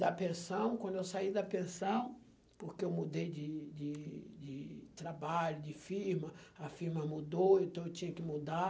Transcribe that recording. Da pensão, quando eu saí da pensão, porque eu mudei de de de trabalho, de firma, a firma mudou, então eu tinha que mudar.